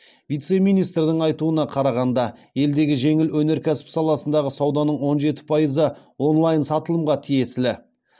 вице министрдің айтуына қарағанда елдегі жеңіл өнеркәсіп саласындағы сауданың он жеті пайызы онлайн сатылымға тиесілі